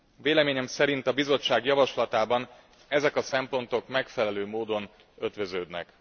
Véleményem szerint a Bizottság javaslatában ezek a szempontok megfelelő módon ötvöződnek.